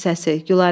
Rüstəmin səsi.